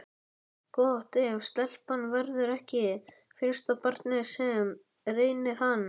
Gott ef stelpan verður ekki fyrsta barnið sem reynir hann.